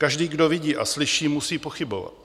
Každý, kdo vidí a slyší, musí pochybovat.